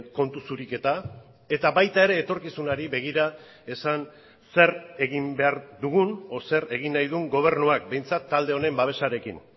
kontu zuriketa eta baita ere etorkizunari begira esan zer egin behar dugun o zer egin nahi duen gobernuak behintzat talde honen babesarekin